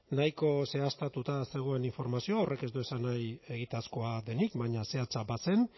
nahiko zehaztatuta zegoen informazioa horrek ez du esan nahi egitazkoa denik baina zehatza bazen